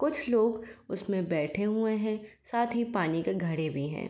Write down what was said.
कुछ लोग उसमें बैठे हुए हैं। साथ ही पानी का घड़े भी हैं।